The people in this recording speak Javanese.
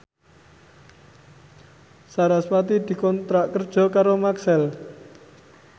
sarasvati dikontrak kerja karo Maxell